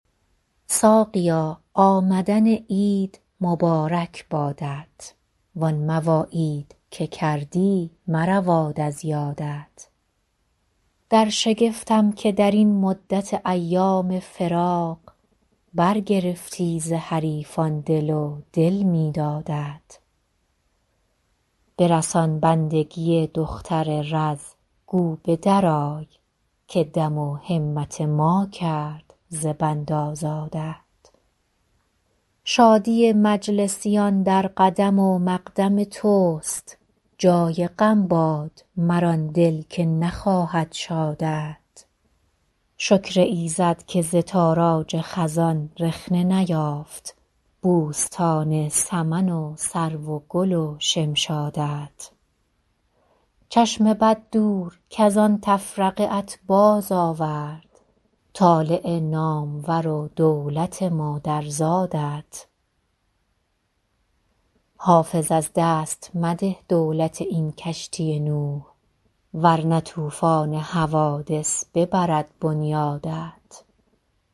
ساقیا آمدن عید مبارک بادت وان مواعید که کردی مرود از یادت در شگفتم که در این مدت ایام فراق برگرفتی ز حریفان دل و دل می دادت برسان بندگی دختر رز گو به درآی که دم و همت ما کرد ز بند آزادت شادی مجلسیان در قدم و مقدم توست جای غم باد مر آن دل که نخواهد شادت شکر ایزد که ز تاراج خزان رخنه نیافت بوستان سمن و سرو و گل و شمشادت چشم بد دور کز آن تفرقه ات بازآورد طالع نامور و دولت مادرزادت حافظ از دست مده دولت این کشتی نوح ور نه طوفان حوادث ببرد بنیادت